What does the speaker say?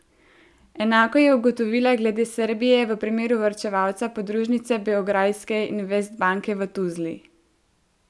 Enako je ugotovila glede Srbije v primeru varčevalca podružnice beograjske Investbanke v Tuzli.